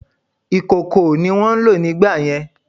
Ìkòkò ni wón ń lò nígbàyẹn